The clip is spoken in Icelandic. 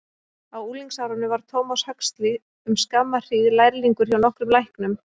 Á unglingsárum var Thomas Huxley um skamma hríð lærlingur hjá nokkrum læknum.